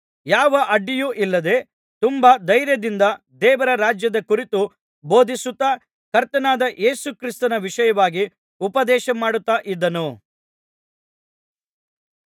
ಯಾವ ಅಡ್ಡಿಯೂ ಇಲ್ಲದೆ ತುಂಬಾ ಧೈರ್ಯದಿಂದ ದೇವರ ರಾಜ್ಯದ ಕುರಿತು ಬೋಧಿಸುತ್ತಾ ಕರ್ತನಾದ ಯೇಸು ಕ್ರಿಸ್ತನ ವಿಷಯವಾಗಿ ಉಪದೇಶಮಾಡುತ್ತಾ ಇದ್ದನು